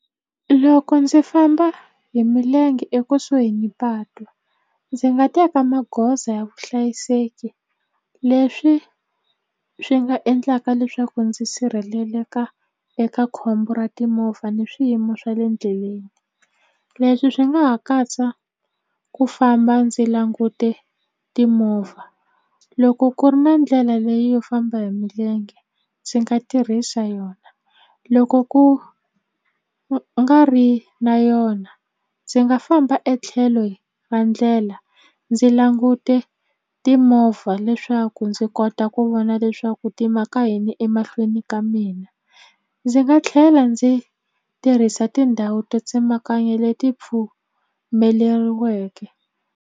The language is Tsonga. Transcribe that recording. Loko ndzi famba hi milenge ekusuhi ni patu ndzi nga teka magoza ya vuhlayiseki leswi swi nga endlaka leswaku ndzi sirheleleka eka khombo ra timovha ni swiyimo swa le ndleleni leswi swi nga ha katsa ku famba ndzi langute timovha loko ku ri na ndlela leyi yo famba hi milenge ndzi nga tirhisa yona loko ku ku nga ri na yona ndzi nga famba etlhelo ra ndlela ndzi langute timovha leswaku ndzi kota ku vona leswaku swa ku ti maka yini emahlweni ka mina ndzi nga tlhela ndzi tirhisa tindhawu to tsemakanya leti pfumeleriweke.